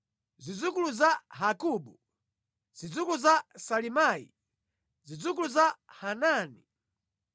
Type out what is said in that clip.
zidzukulu za Hagabu, zidzukulu za Salimayi, zidzukulu za Hanani,